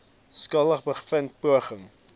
skuldig bevind poging